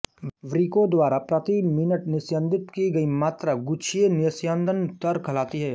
वृक्कों द्वारा प्रति मिनट निस्यंदित की गई मात्रा गुच्छिय निस्यंदन दर कहलाती है